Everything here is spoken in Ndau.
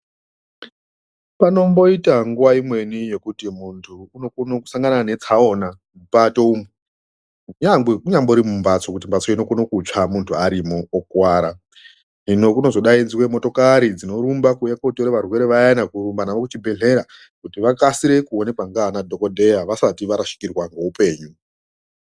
Panomboita nguwa imweni yekuti muntu unokone kusanga neatsaona mupato umwu nyangwe kunyambori mumbatso kuti mbatso inokone kutsva muntu arimo okuwara . Hino kunozodaidzwe motokari dzinorumba kuuya kotore varwere vaya kurumba navo kuchibhedhlera kuti vakasire kuonekwa nana dhokodheya vasati varashikirwa ngeupenyu.